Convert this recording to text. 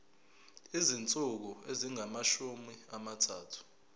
izinsuku ezingamashumi amathathu